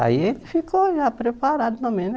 Aí ele ficou já preparado também, né?